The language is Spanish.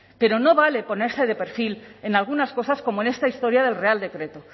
pero no vale ponerse de perfil en algunas cosas como en esta historia del real decreto